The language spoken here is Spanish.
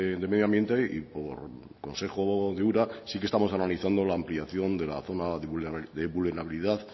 de medio ambiente y por consejo de ura sí que estamos analizando la ampliación de la zona de vulnerabilidad